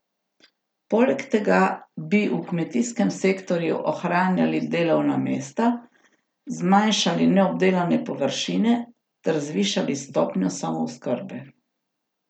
Poleg tega bi v kmetijskem sektorju ohranjali delovna mesta, zmanjšali neobdelane površine ter zvišali stopnjo samooskrbe.